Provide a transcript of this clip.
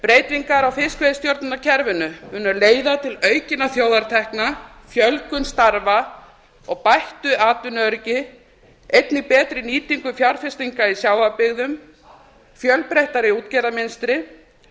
breytingar á fiskveiðistjórnarkerfinu munu leiða til aukinna þjóðartekna fjölgun starfa og bættu atvinnuöryggi einnig betri nýtingu fjárfestinga í sjávarbyggðum fjölbreyttara útgerðarmynstur